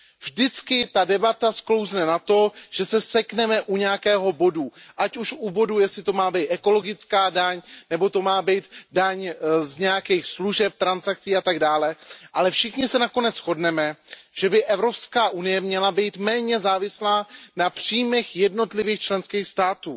Vždycky ta debata sklouzne k tomu, že se sekneme u nějakého bodu, ať už u bodu, jestli to má být ekologická daň nebo to má být daň z nějakých služeb, transakcí a tak dále, ale všichni se nakonec shodneme, že by Evropská unie měla být méně závislá na příjmech jednotlivých členských států.